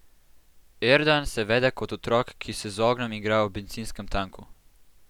Erdan se vede kot otrok, ki se z ognjem igra ob bencinskem tanku.